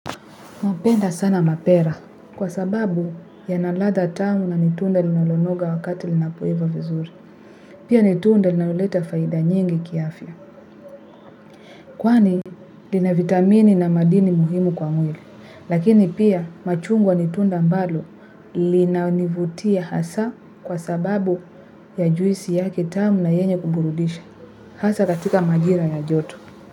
Napenda sana mapera kwa sababu yana ladha tamu na ni tunda linalonoga wakati linapoiva vizuri. Pia ni tunda linaloleta faida nyingi kiafya. Kwani lina vitamini na madini muhimu kwa mwili. Lakini pia machungwa ni tunda ambalo linanivutia kwa sababu ya juisi yake tamu na yenye kuburudisha hasa katika majira ya joto.